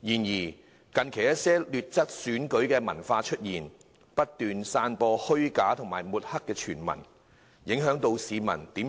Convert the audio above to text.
然而，近期出現了一些劣質選舉文化，不斷散播虛假傳聞，企圖抹黑某些候選人，影響市民對